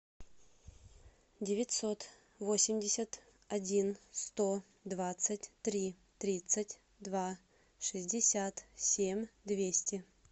девятьсот восемьдесят один сто двадцать три тридцать два шестьдесят семь двести